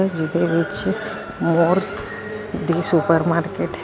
ਜਿਹਦੇ ਵਿੱਚ ਮੋਰ ਦੀ ਸੁਪਰ ਮਾਰਕੀਟ ਹੈ।